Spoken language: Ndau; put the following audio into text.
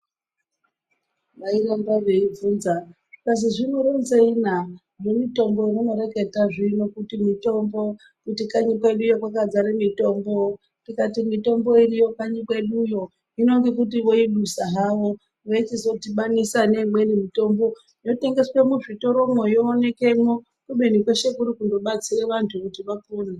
Vai ramba vei bvunza zvikazi zvino ronzei na zve mutombo we muno reketa zvino kuti mitombo kuti kanyi kweduyo kwaka dzara mitombo tikati mitombo iriyo kanyi kweduyo hino ngekuti voi dusa havo veichizo dhibanisa ne imweni mitombo yo tengeswe mu zvitoro mwo yo oneke mwo kubeni kwese kuri kundo batsire vantu kuti vapone.